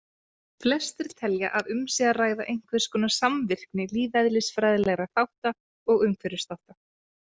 Flestir telja að um sé að ræða einhverskonar samvirkni lífeðlisfræðilegra þátta og umhverfisþátta.